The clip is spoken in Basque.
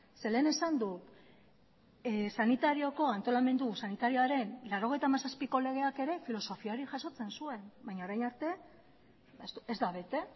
zeren lehen esan dut antolamendu sanitariaren mila bederatziehun eta laurogeita hamazazpiko legeak filosofia hori jasotzen zuen baina orain arte ez da bete